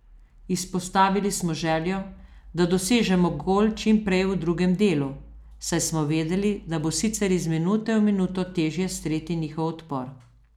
Izpostavili smo željo, da dosežemo gol čim prej v drugem delu, saj smo vedeli, da bo sicer iz minute v minuto težje streti njihov odpor.